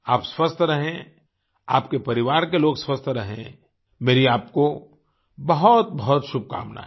आप स्वस्थ रहें आपके परिवार के लोग स्वस्थ रहें मेरी आपको बहुतबहुत शुभकामनायें